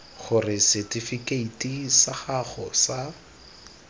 gore setifikeiti sa gago sa